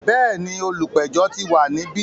Bẹ́ẹ̀ni, olùpẹ̀jọ́ ti wà níbí.